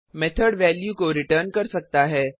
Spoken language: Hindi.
मेथड वैल्यू को रिटर्न कर सकता है